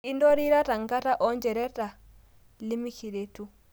Intarorita ngata oonchoreta limikiretu